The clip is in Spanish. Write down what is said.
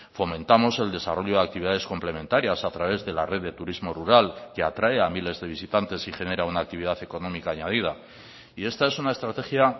fomentamos el desarrollo de actividades complementarias a través de la red de turismo rural que atrae a miles de visitantes y genera una actividad económica añadida y esta es una estrategia